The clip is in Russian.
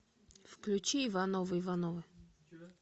включи ивановы ивановы